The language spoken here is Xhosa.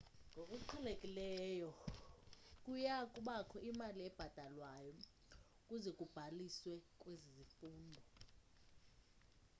ngokuqhelekileyo kuyakubakho imali ebhatalwayo ukuze ubhaliswe kwezi zifundo